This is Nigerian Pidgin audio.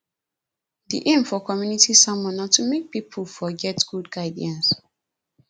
di aim for community sermon na to make pipo for get good guidance